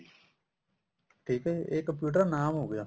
ਠੀਕ ਆ ਇਹ computer ਨਾਮ ਹੋਗਿਆ